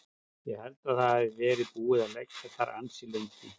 Ég held að það hafi verið búið að liggja þar ansi lengi.